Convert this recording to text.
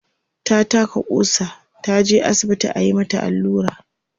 ta taka ƙusa, taje asibiti ayi mata Alura